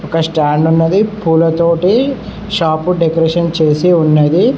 ఒక స్టాండ్ ఉన్నది పూల తోటి షాపు డెకరేషన్ చేసి ఉన్నది.